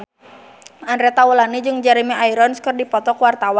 Andre Taulany jeung Jeremy Irons keur dipoto ku wartawan